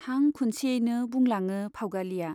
हां खुनसेयैनो बुंलाङो फाउगालिया